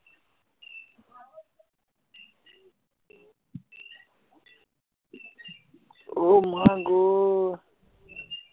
অ মা গ